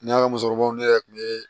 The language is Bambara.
Ne ka musokɔrɔbaw ne yɛrɛ kun bɛ